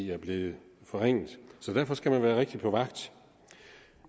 er blevet forringet så derfor skal man være rigtig meget på vagt